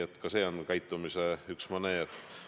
Aga seegi on üks käitumismaneer.